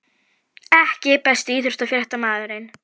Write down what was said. EKKI besti íþróttafréttamaðurinn?